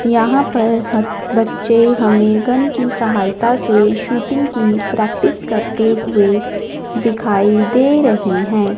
यहां पर हर बच्चे हमें गन की सहायता से शूटिंग की प्रैक्टिस करते हुए दिखाई दे रहे हैं।